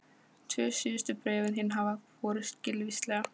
Tvö síðustu bréfin þín hafa borist skilvíslega.